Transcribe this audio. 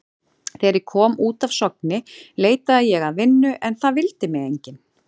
Þegar ég kom út af Sogni leitaði ég að vinnu en það vildi mig enginn.